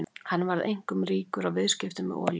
Hann varð einkum ríkur á viðskiptum með olíu.